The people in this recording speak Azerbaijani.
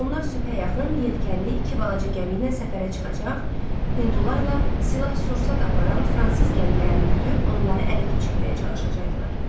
Onlar sübhə yaxın yelkənli iki balaca gəmi ilə səfərə çıxacaq, Hindularla silah-sursat aparan fransız gəmilərini güdübo, onları ələ keçirməyə çalışacaqdılar.